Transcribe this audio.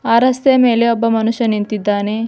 ಆ ರಸ್ತೆಯ ಮೇಲೆ ಒಬ್ಬ ಮನುಷ್ಯ ನಿಂತಿದ್ದಾನೆ.